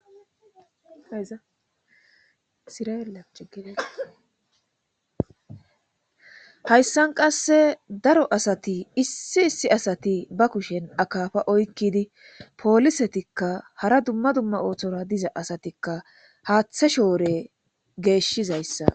hayssan qasse daro asati issi issi asati ba kushen akaafa oykkidi poolisetikka hara dumma dumma oothora diza asatikka haaththa shoore geeshshizayssa besses